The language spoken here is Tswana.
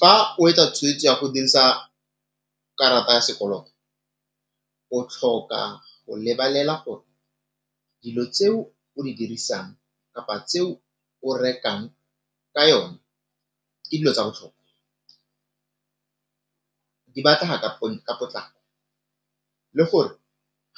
Fa o etsa tshwetso ya go dirisa karata ya sekoloto, o tlhoka go lebelela gore dilo tseo o di dirisang kapa tseo o rekang ka yone ke dilo tsa botlhokwa, di batlega ka potlako le gore